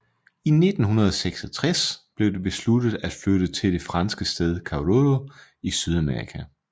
I 1966 blev det besluttet at flytte til det franske sted Kourou i Sydamerika